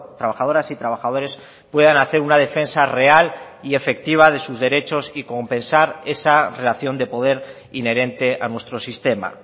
trabajadoras y trabajadores puedan hacer una defensa real y efectiva de sus derechos y compensar esa relación de poder inherente a nuestro sistema